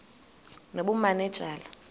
nobumanejala